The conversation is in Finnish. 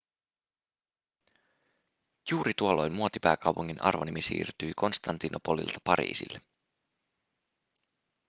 juuri tuolloin muotipääkaupungin arvonimi siirtyi konstantinopolilta pariisille